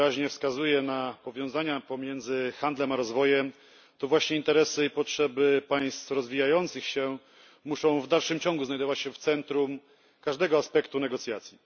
r. wyraźnie wskazuje na powiązania pomiędzy handlem a rozwojem, to właśnie interesy i potrzeby państw rozwijających się muszą w dalszym ciągu znajdować się w centrum każdego aspektu negocjacji.